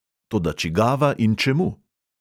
Toda čigava in čemu?